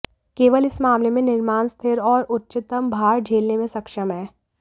केवल इस मामले में निर्माण स्थिर और उच्चतम भार झेलने में सक्षम है